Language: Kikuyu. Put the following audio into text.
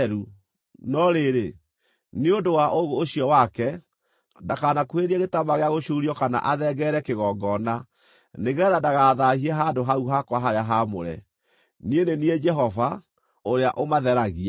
no rĩrĩ, nĩ ũndũ wa ũũgũ ũcio wake, ndakanakuhĩrĩrie gĩtambaya gĩa gũcuurio kana athengerere kĩgongona, nĩgeetha ndagathaahie handũ hau hakwa harĩa haamũre. Niĩ nĩ niĩ Jehova, ũrĩa ũmatheragia.’ ”